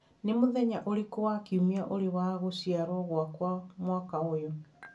Nĩ mũthenya ũrĩkũ wa kiumia ũrĩ wa gũciarwo gwakwa mwaka ũyũ